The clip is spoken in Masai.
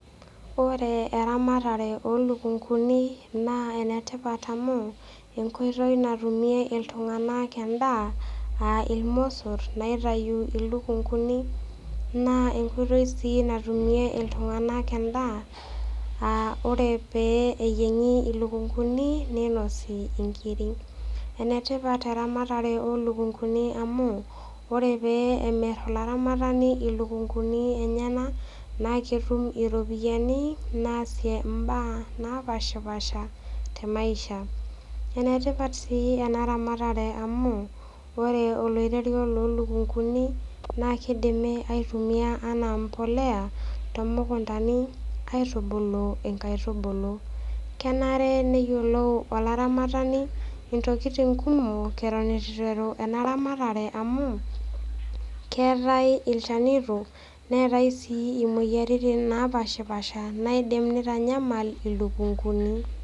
Ore eramatare oo ilukunguni naa enetipat amu enkoitoi natumie iltung'ana endaa aa ilmosor oitayu ilukunguni naa enkoitoi sii natumie iltung'ana endaa aa ore pee neyieng'i ilukunguni neinosi inkiri. Enetipat eramatare oo ilukunguni amu ore pee emir olaramatani ilukunguni enyena naake etum iropiani naasie imbaa napaashipaasha te maisha. Enetipat sii ena ramatare amu ore oloirerio loo ilukunguni naa keidimi aitumia anaa embolea too mukuntani aitubulu inkaitubulu. Kenare neyioulou olaramatani intokitin kumok eton eitu eiteru ena ramatare amu keatai ilchanito neatai sii imoyaritin napaashipaasha naidim aitanyamala ilukunguni.